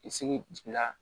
I segira